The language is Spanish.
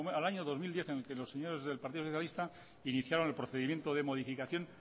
al año dos mil diez en los que los señores del partido socialista iniciaban el procedimiento de modificación